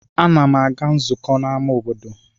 Ana m aga nzukọ n'ama obodo.